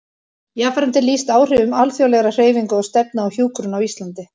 Jafnframt er lýst áhrifum alþjóðlegra hreyfinga og stefna á hjúkrun á Íslandi.